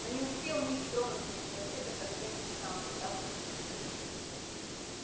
но не успел ник тронуться с места как оркестр сам внезапно стих